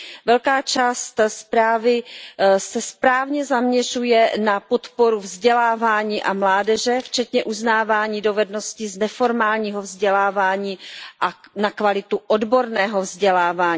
Velká část zprávy se správně zaměřuje na podporu vzdělávání a mládeže, včetně uznávání dovedností z neformálního vzdělávání a na kvalitu odborného vzdělávání.